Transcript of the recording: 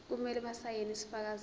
kumele basayine isifakazelo